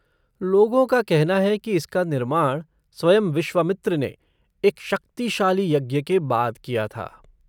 लोगों का कहना है कि इसका निर्माण स्वयं विश्वामित्र ने एक शक्तिशाली यज्ञ के बाद किया था।